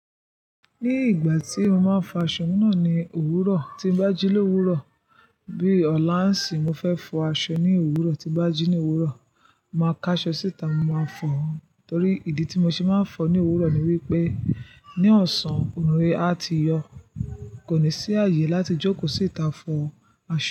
Ní ìgbà tí mo máa ń fọ aṣọ náà ní òwúrọ̀ tí n báji lówúrọ̀ bí ọ̀la ń sì mo fẹ́ fọ aṣọ ní òwúrọ̀ tí báji ní òwúrọ̀, màá ká aṣọ síta mo máa fọ. Torí ìdí tí mo ṣe máa ń fọ ní òwúrọ̀ ni wípé ní ọ̀sán, oòrùn a ti yọ̀ kò ní sí ààyè láti jókòó síta fọ aṣọ.